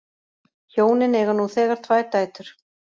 Hjónin eiga nú þegar tvær dætur